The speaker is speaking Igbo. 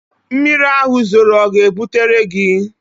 Mmiri ahụ zoro ọ ga-ebutere gị?